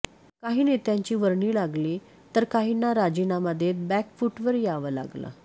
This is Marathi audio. काही नेत्यांची वर्णी लागली तर काहींना राजीनामा देत बॅकफूटवर यावं लागलं